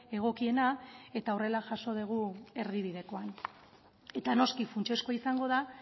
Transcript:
egokiena eta horrela jaso dugu erdibidekoan eta noski funtsezkoa izango da